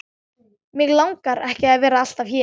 Mig langar ekki að vera alltaf hér.